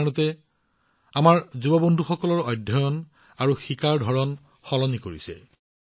ইণ্টাৰনেটে আমাৰ যুৱ বন্ধুসকলৰ অধ্যয়ন আৰু শিকাৰ ধৰণ সলনি কৰিছে